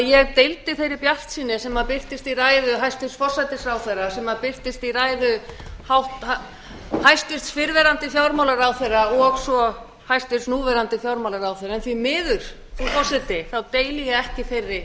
ég deildi þeirri bjartsýni sem birtist í ræðu hæstvirts forsætisráðherra sem birtist í ræðu hæstvirts fyrrverandi fjármálaráðherra og svo hæstvirtur núverandi fjármálaráðherra en því miður frú forseti deili ég ekki þeirri